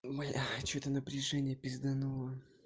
блядь что-то напряжение пизданула